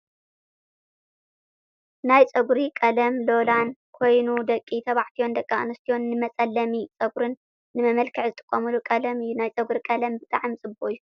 ናይ ፀጉሪ ቀለም ሎላን ኮይኑ ደቂ ተባዕትዮን ደቂ ኣንስትዮን ንመፀለሚ ፀጉሪን ንመልክዕን ዝጥቀሙሉ ቀለም እዩ። ናይ ፀጉሪ ቀለም ብጣዕሚ ፅቡቅ እዩ።